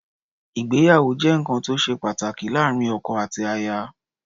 Ìgbéyàwó jẹ́ nǹkan tí ó ṣe pàtàkì láàárín ọkọ àti aya.